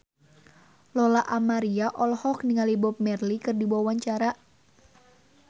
Lola Amaria olohok ningali Bob Marley keur diwawancara